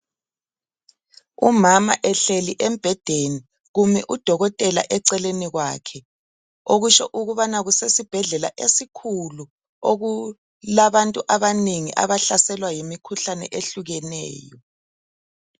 Umama ehleli embhedeni. Kumi udokotela eceleni kwakhe. Okusho ukubana kusesibhedlela esikhulu. Okulabantu abanengi, abahlaselwa yimikhuhlane ehlukeneyo,